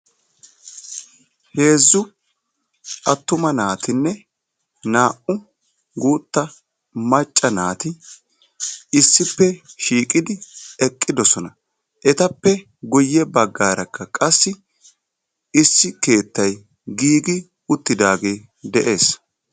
Heezzu attuma naatinne naa'u guutta macca naati issippe shiiqidi eqqidosona. Etappe guyye baggaarakka qassi issi keettayi giigi uttidaagee de'es.